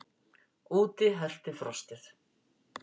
Úti herti frostið.